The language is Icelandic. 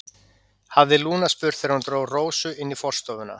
hafði Lúna spurt þegar hún dró Rósu inn í forstofuna.